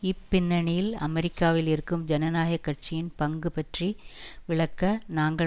இப்பின்னணியில் அமெரிக்காவில் இருக்கும் ஜனநாயக கட்சியின் பங்கு பற்றி விளக்க நாங்கள்